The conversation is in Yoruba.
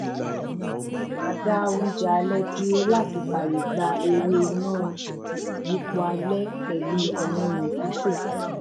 a dá oúnjẹ alẹ dúró làti fàyè gba eré iná ìyípo alẹ pẹlú àwọn ohùn pípè